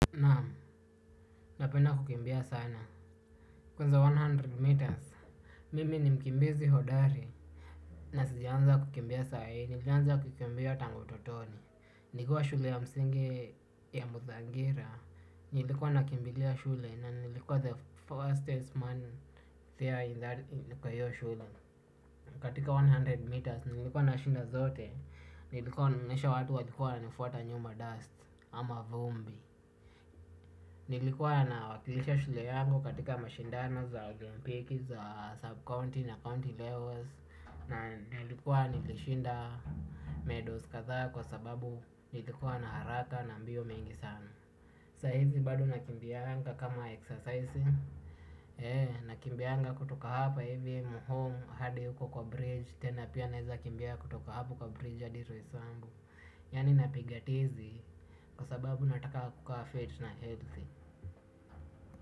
Naam, napenda kukimbia sana. Kuanzia mia moja meters, mimi ni mkimbizi hodari. Na sijaanza kukimbia sai, nilianza kukimbia tangu utotoni. Nikiwa shule ya msingi ya Muzangira. Nilikuwa nakimbilia shule na nilikuwa the fastest man there in that kwa hiyo shule. Katika mia moja meters, nilikuwa nashinda zote. Nilikuwa naonyesha watu walikuwa wanafuata nyuma dust ama vumbi. Nilikuwa na wakilisha shule yangu katika mashindano za olempiki, za sub county na county levels. Na nilikuwa nilishinda medals kadhaa kwa sababu nilikuwa na haraka na mbio mengi sana saa hizi bado nakimbianga kama exercise ee nakibianga kutoka hapa home hadi huko bridge ama naeza kimbia kutoka kwa bridge adi roysambu yaani napiga tizi kwa sababu nataka kukaa fit na healthy.